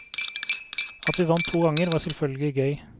At vi vant to ganger, var selvfølgelig gøy.